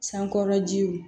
Sankɔrɔjiw